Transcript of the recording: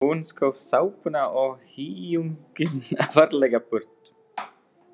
Hún skóf sápuna og hýjunginn varlega burt.